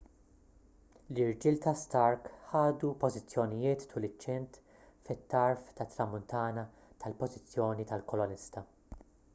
l-irġiel ta' stark ħadu pożizzjonijiet tul iċ-ċint fit-tarf tat-tramuntana tal-pożizzjoni tal-kolonista